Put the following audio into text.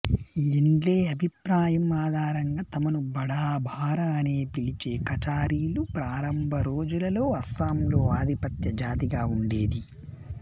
Endle అభిప్రాయం ఆధారంగా తమను బడా బారా అని పిలిచే కచారీలు ప్రారంభ రోజులలో అస్సాంలో ఆధిపత్య జాతిగా ఉండేది